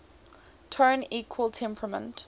tone equal temperament